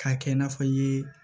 K'a kɛ i n'a fɔ i ye